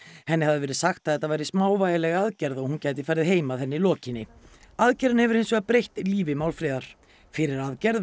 henni hafði verið sagt að þetta væri smávægileg aðgerð og hún gæti farið heim að henni lokinni aðgerðin hefur hins vegar breytt lífi Málfríðar fyrir aðgerð